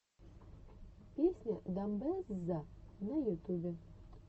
песня дамбэзза на ютубе